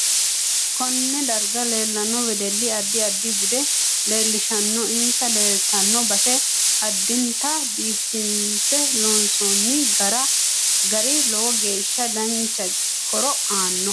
Konee darga leelanno wedelli addi addi bude leelishanno insa leeltanno base addinta biifinse loonsooni gari lowo geesha dancha horo aanno